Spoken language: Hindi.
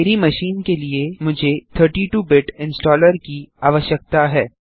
मेरी मशीन के लिए मुझे 32 बिट इंस्टॉलर की आवश्यकता है